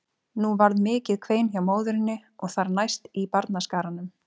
Nú varð mikið kvein hjá móðurinni og þar næst í barnaskaranum.